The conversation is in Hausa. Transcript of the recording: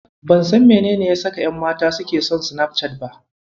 Ban san menene ya saka ƴanmata suke son Sinafcat ba.